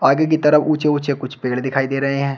आगे की तरफ ऊंचे ऊंचे कुछ पेड़ दिखाई दे रहे हैं।